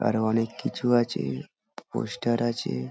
আরো অনেক কিছু আছে পোস্টার আছে।